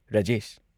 Rajesh